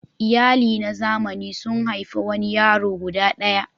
Iyali na zamani sun haifi wani yaro guda ɗaya.